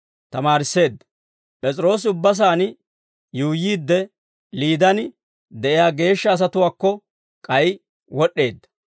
P'es'iroosi ubba saan yuuyyiidde, Liidaan de'iyaa geeshsha asatuwaakko k'ay wod'd'eedda.